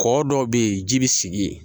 Kɔ dɔw bɛ yen ji bɛ sigi yen